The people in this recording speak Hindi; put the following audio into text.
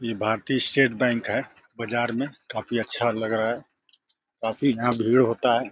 इ भारती स्टेट बैंक है बाजार में काफी अच्छा लग रहा है। काफी यहाँ भीड़ होता है।